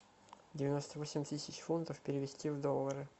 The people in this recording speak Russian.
девяносто восемь тысяч фунтов перевести в доллары